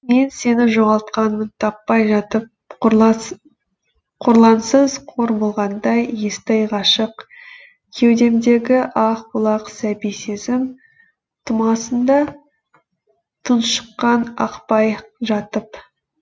мен сені жоғалтқанмын таппай жатып қорлансыз қор болғандай естай ғашық кеудемдегі ақ бұлақ сәби сезім тұмасында тұншыққан ақпай жатып